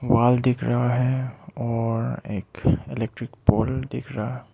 wall दिख रहा है और एक इलेक्ट्रिक पोल दिख रहा--